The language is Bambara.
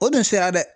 O dun sera dɛ